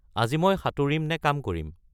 আজি মই সাঁতুৰিম নে কাম কৰিম